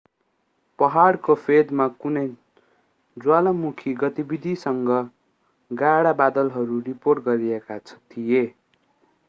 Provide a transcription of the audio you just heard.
पहाडको फेदमा कुनै ज्वालामुखी गतिविधिसँग गाढा बादलहरू रिपोर्ट गरिएका थिए